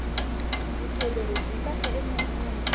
vutiolori byi kahle emunhwini